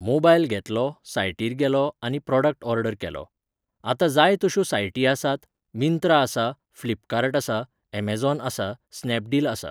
Mobile घेतलो, सायटीर गेलों आनी प्रॉडक्ट ऑर्डर केलो. आतां जाय तश्यो सायटी आसात मिन्त्रा आसा फ्लिपकार्ट आसा ऍमझॉन आसा स्नॅपडील आसा.